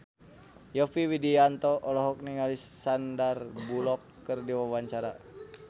Yovie Widianto olohok ningali Sandar Bullock keur diwawancara